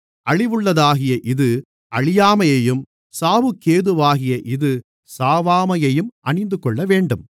அழிவுள்ளதாகிய இது அழியாமையையும் சாவுக்கேதுவாகிய இது சாவாமையையும் அணிந்துகொள்ளவேண்டும்